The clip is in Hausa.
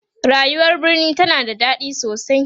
rayuwar birni tana da daɗi sosai